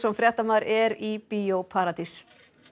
fréttamaður er í Bíó paradís